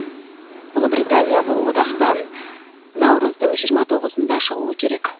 ұлыбритания бұл одақтан наурыздың жиырма тоғызында шығуы керек